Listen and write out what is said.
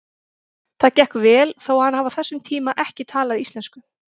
Það gekk vel þó hann hafi á þessum tíma ekki talað íslensku.